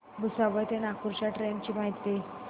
भुसावळ ते नागपूर च्या ट्रेन ची माहिती